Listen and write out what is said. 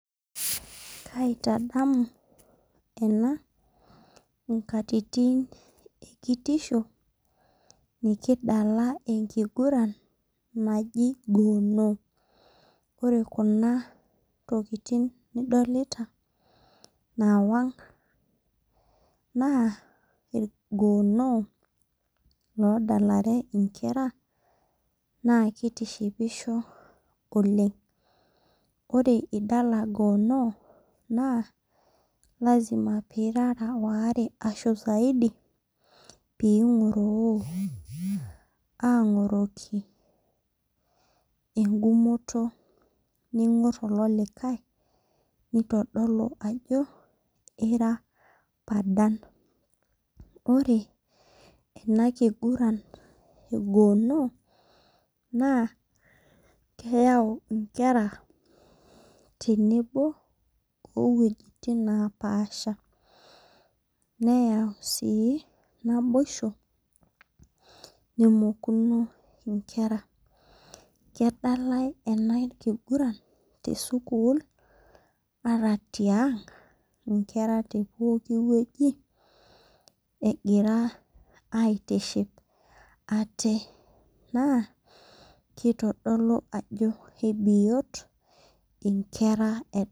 Kaitadamu ena nkatitin ekitisho nikidala enkiguran naji gono ore khna tokitin nidolta nawang na irgono odalalrw nkera na kitishipisho oleng ore pidala gono na lasima pirara saidi pingoroo angoroki engumoto ningor ololikae nintadalu ajobira padal ore enakigiran egono na keyau nkera tenebo iwuejitin napaasha neyau naboisho nemokuno nkera kedalai enkiguran tesukul ataa tiang nkera tepokki wueji wgira aitiship ate na kitadolu ajo kebiot nkera.